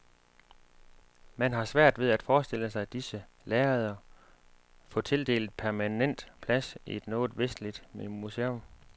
Man har svært ved at forestille sig disse lærreder få tildelt permanent plads i noget vestligt museum.